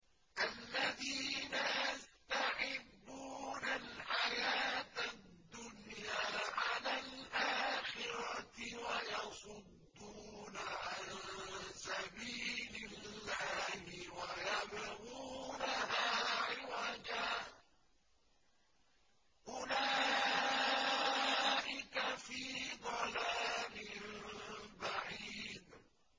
الَّذِينَ يَسْتَحِبُّونَ الْحَيَاةَ الدُّنْيَا عَلَى الْآخِرَةِ وَيَصُدُّونَ عَن سَبِيلِ اللَّهِ وَيَبْغُونَهَا عِوَجًا ۚ أُولَٰئِكَ فِي ضَلَالٍ بَعِيدٍ